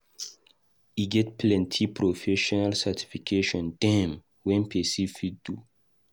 E get plenty profesional certification dem wey person fit do.